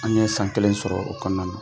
An ye san kelen sɔrɔ o kɔnɔna na.